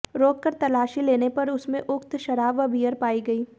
रोककर तलाशी लेने पर उसमें उक्त शराब व बीयर पाई गई